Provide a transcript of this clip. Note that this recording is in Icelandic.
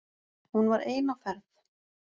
Hún var ein á ferð